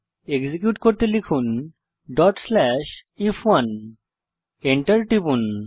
execute করতে লিখুন if1 এবং Enter টিপুন